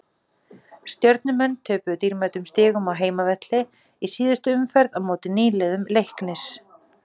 Stjörnumenn töpuðu dýrmætum stigum á heimavelli í síðustu umferð á móti nýliðum Leiknis.